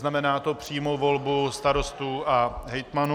Znamená to přímou volbu starostů a hejtmanů.